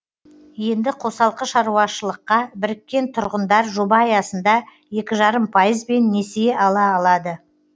енді қосалқы шаруашыққа біріккен тұрғындар жоба аясында екі жарым пайызбен несие ала алады